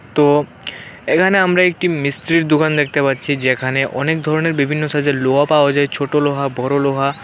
তো এখানে আমরা একটি মিস্ত্রির দোকান দেখতে পাচ্ছি যেখানে অনেক ধরণের বিভিন্ন সাইজের লোহা পাওয়া যায় ছোট লোহা বড় লোহা।